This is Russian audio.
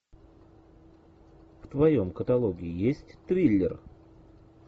в твоем каталоге есть триллер